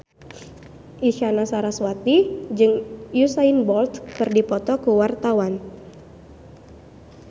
Isyana Sarasvati jeung Usain Bolt keur dipoto ku wartawan